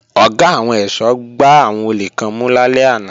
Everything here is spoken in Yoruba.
Ọ̀gá àwọn ẹ̀ṣọ́ gbá àwọn olè kan mú lálẹ́ àná